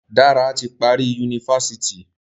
Dare ti parí Yunifásitì